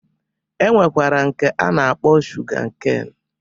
E nwekwara nke a na-akpọ shuga keen